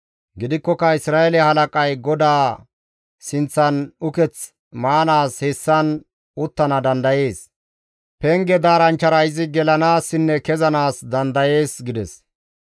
Gidikkoka Isra7eele halaqay GODAA sinththan uketh maanaas hessan uttana dandayees. Penge daaranchchara izi gelanaassinne kezanaas dandayees» gides.